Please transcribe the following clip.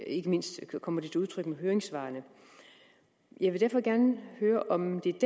ikke mindst kommer til udtryk i høringssvarene jeg vil derfor gerne høre om det er